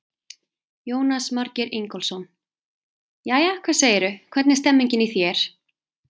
Jónas Margeir Ingólfsson: Jæja, hvað segirðu, hvernig er stemmingin í þér?